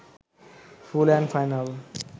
full and final